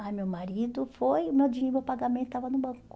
Ai, meu marido foi, meu dinheiro, meu pagamento estava no banco.